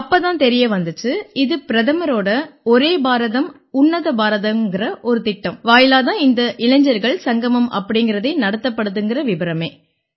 அப்பத் தான் தெரிய வந்திச்சு இது பிரதமரோட ஒரே பாரதம் உன்னத பாரதம்ங்கற ஒரு திட்டம் வாயிலாத் தான் இந்த இளைஞர்கள் சங்கமம் அப்படீங்கறதே நடத்தப்படுதுங்கற விபரமே